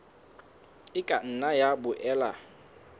e ka nna ya boela